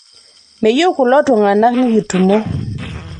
meyieu kulotunganak nikitumo